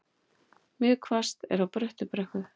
Mjög hvasst er á Bröttubrekku